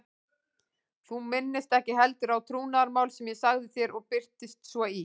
Þú minnist ekki heldur á trúnaðarmál sem ég sagði þér og birtist svo í